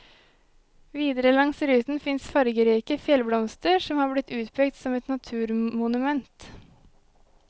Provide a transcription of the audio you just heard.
Videre langs ruten fins fargerike fjellblomster som har blitt utpekt som et naturmonument.